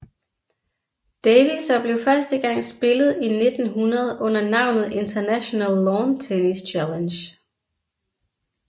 Davis og blev første gang spillet i 1900 under navnet International Lawn Tennis Challenge